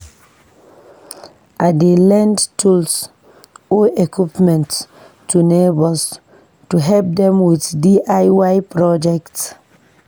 I dey lend tools or equipment to neighbors to help dem with DIY projects.